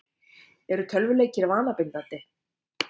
Eru tölvuleikir vanabindandi?